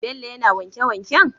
Bello yAna wanke wanken?